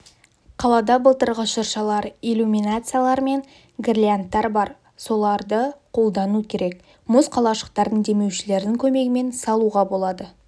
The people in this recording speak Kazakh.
қалада былтырғы шыршалар иллюминациялар мен гирляндтар бар соларды қолдану керек мұз қалашықтарын демеушілердің көмегімен салуға болады